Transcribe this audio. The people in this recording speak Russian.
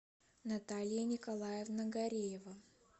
наталья николаевна гареева